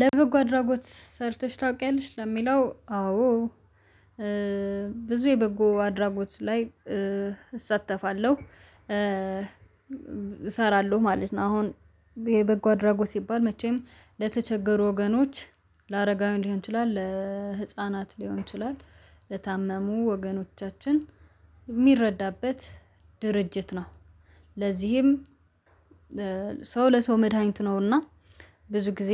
ለበጎ አድራጎት ሰርተሽ ታውቂያለሽ ለሚለው አዎዎ እእ ብዙ የበጎ አድራጎት ላይ እእ እሳተፋለሁ እእ እሰራለሁ ማለት ነው። አሁን የበጎ አድራጎት ሲባል መቼም ለተቸገሩ ወገኖች ለአረጋዊ ሊሆን ይችላል ለእህፃናት ሊሆን ይችላል ለታመሙ ወገኖቻችን ሚረዳበት ድርጅት ነው። ለዚህም ለእ ሰው ለሰው መድሃኒቱ ነውና ብዙ ጊዜ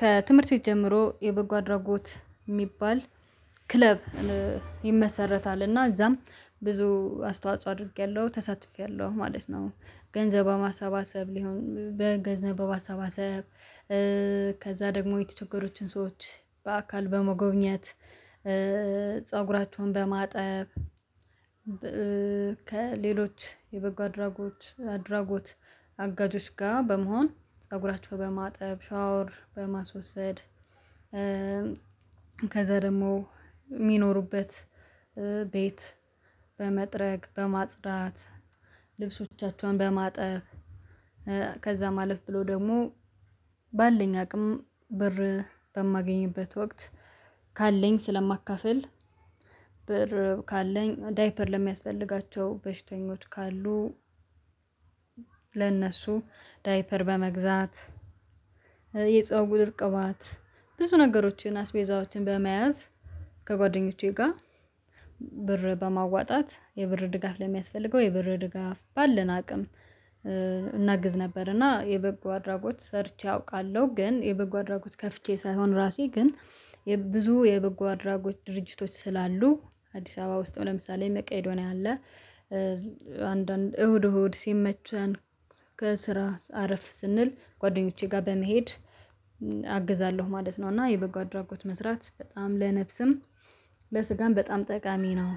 ከትምህርት ቤት ጀምሮ የበጎ አድራጎት ሚባል ክለብ እእ ይመሰረታል እና እዛም ብዙ አስተዋጽኦ አድርጌያለሁ ተሳትፌያለሁ ማለት ነው። ገንዘብ በማሰባሰብ ሊሆን በገንዘብ በባማሰባሰብ እእ ከዛ ደግሞ የተቸገሩትን ሰዎች በአካል በመጎብኘት እእ ፀጉራቸውን በማጠብ እእ ከሌሎች የበጎ አድራጎች አድራጎት። አጋጆች ጋር በመሆን ፀጉራችሁ በማጠብ ሻወር በማስወሰድ እእም ከዛ ደግሞ ሚኖሩበት እእ ቤት በመጥረግ በማጽዳት። ልብሶቻቸውን በማጠብ እእ ከዛ አለፍ ብሎ ደግሞ ባለኝ አቅም በር በማገኝበት ወቅት ካለኝ ስለማካፍል። ብር ካለኝ ዳይፐር ለሚያስፈልጋቸው በሽተኞች ካሉ ለእነሱ ዳይፐር በመግዛት እእ የፀጉር ቅባት ብዙ ነገሮችን አስቤዛዎችን በመያዝ ከጓደኞቼ ጋ ብር በማዋጣት የብር ድጋፍ ለሚያስፈልገው የብር ድጋፍ ባለን አቅም እእ እናግዝ ነበር። እና የበጎ አድራጎት ሰርቼ አውቃለሁ ግን የበጎ አድራጎት ከፍቼ ሳይሆን ራሴ ግን የብ ብዙ የበጎ አድራጎት ድርጅቶች ስላሉ አዲስ አበባ ውስጥ ለምሳሌ መቄዶኒያ አለ። እእ አንዳንድ እሁድ እሁድ ሲመቸን ከስራ አረፍ ስንል ጓደኞቼ ጋ በመሄድ እም አግዛለሁ ማለት ነው። እና የበጎ አድራጎት መስራት በጣም ለነፍስም ለስጋም በጣም ጠቃሚ ነው።